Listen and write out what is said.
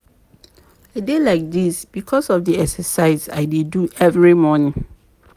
I dey like dis because of the exercise I dey do every morning